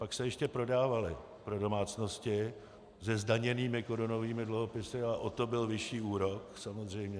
Pak se ještě prodávaly pro domácnosti se zdaněnými korunovými dluhopisy a o to byl vyšší úrok samozřejmě.